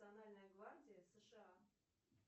национальная гвардия сша